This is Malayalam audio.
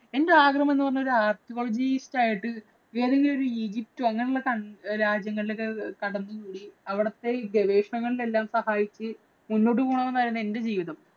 എന്‍റെ ആഗ്രഹം എന്ന് പറഞ്ഞാൽ ഒരു archaeologist ആയിട്ട് ഏതെങ്കിലും ഒരു അങ്ങനെയുള്ള രാജ്യങ്ങളിലോക്കെ കടന്നു അവിടത്തെ ഈ ഗവേഷണങ്ങളിലെല്ലാം സഹായിച്ചു മുന്നോട്ടു പോണം എന്നായിരുന്നു എന്‍റെ ജീവിതം.